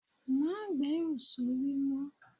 Má gberu sórí mó.